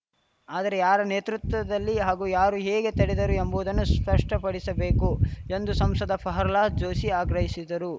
ಆದರೆ ಯಾರ ನೇತೃತ್ವದಲ್ಲಿ ಹಾಗೂ ಯಾರು ಹೇಗೆ ತಡೆದರು ಎಂಬುದನ್ನು ಸ್ಪಷ್ಟಪಡಿಸಬೇಕು ಎಂದು ಶಂಶದ ಪಹರ್ಲಾದ್ ಜೋಶಿ ಆಗ್ರಹಿಸಿದರು